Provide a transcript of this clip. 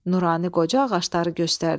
Nurani qoca ağacları göstərdi.